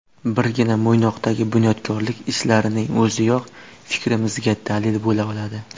Birgina Mo‘ynoqdagi bunyodkorlik ishlarining o‘ziyoq fikrimizga dalil bo‘la oladi.